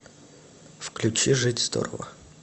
включи жить здорово